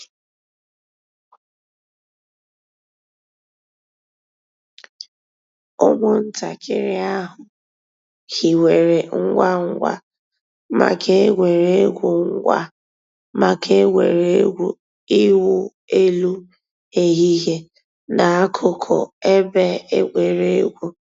Ụ́mụ̀ntàkìrì àhụ̀ hìwèrè ngwá ngwá mǎká ègwè́régwụ̀ ngwá mǎká ègwè́régwụ̀ ị̀wụ̀ èlù èhìhìè n'àkùkò èbè ègwè́régwụ̀.